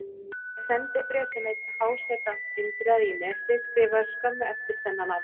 Til er sendibréf sem einn háseta Indriða í Nesi skrifaði skömmu eftir þennan atburð.